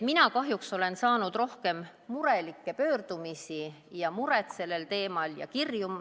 Mina kahjuks olen saanud rohkem murelikke pöördumisi ja kirju sellel teemal.